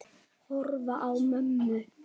Horfi á mömmu.